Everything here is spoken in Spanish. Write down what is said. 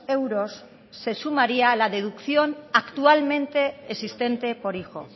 euros se sumaría a la deducción actualmente existente por hijo